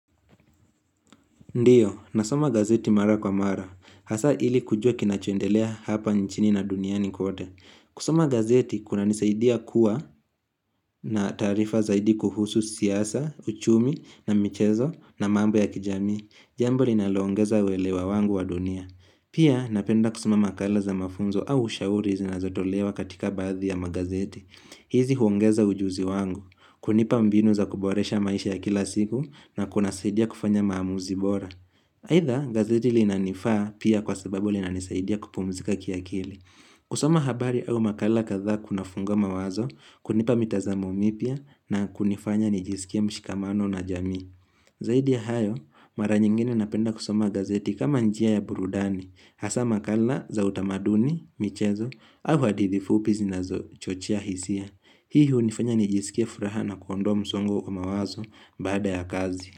Ndiyo, nasoma gazeti mara kwa mara, hasa ili kujua kinachoendelea hapa nchini na duniani kote. Kusoma gazeti, kunanisaidia kuwa na taarifa zaidi kuhusu siasa, uchumi na michezo na mambo ya kijamii. Jambo linaloongeza uwelewa wangu wa dunia. Pia, napenda kusoma makala za mafunzo au ushauri zinazotolewa katika baadhi ya magazeti. Hizi huongeza ujuzi wangu, kunipa mbinu za kuboresha maisha ya kila siku na kunasaidia kufanya maamuzi bora. Aitha gazeti linanifaa pia kwa sababu linanisaidia kupumzika kia kili. Kusoma habari au makala kadhaa kunafungua mawazo, kunipa mitazamo mipya na kunifanya nijisikie mshikamano na jamii. Zaidi ya hayo, mara nyingine napenda kusoma gazeti kama njia ya burudani, hasa makala za utamaduni, michezo, au hadithi fupi zinazochochea hisia. Hii hunifanya nijisikie furaha na kuondoa msongo kwa mawazo baada ya kazi.